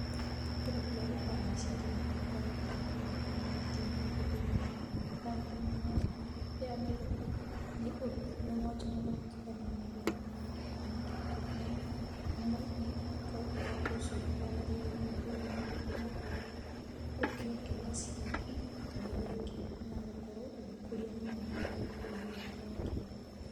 Kĩndũ kĩrĩa gĩũkaga mecirĩanĩ makwa rĩrĩa ndakorwa a ngĩona ũingĩ wa andũ thĩinĩ wa taũni nene ya Nairobi nĩ wonjooria na ũrutithania wa wĩra ũrĩa mangĩkoroa makĩrutithania hamwe ũndũ ũcio ũgakorwa ũgĩteithia ũndũ ũcio bũrũrinĩ witũ nĩ gũkorwo ũkĩongerera ciringi na ĩrĩa ĩngĩ na gũkorwo ũgĩkũria mũno makĩria bũrũri wĩtũ wa Kenya.